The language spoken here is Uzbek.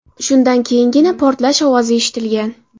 Shundan keyingina portlash ovozi eshitilgan.